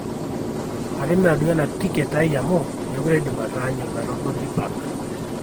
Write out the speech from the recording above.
atimira duo ena duo ticket ai amu mekure aidim ataanyu metoboli park